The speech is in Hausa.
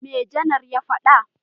Me Janar ya faɗa?